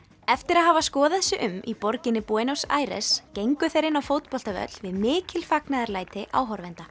eftir að hafa skoðað sig um í borginni Buenos Aires gengu þeir inn á fótboltavöll við mikil fagnaðarlæti áhorfenda